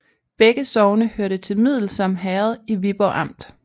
Begge sogne hørte til Middelsom Herred i Viborg Amt